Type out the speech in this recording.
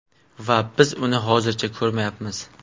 Va biz uni hozircha ko‘rmayapmiz.